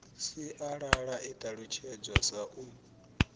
sialala i ṱalutshedzwa sa u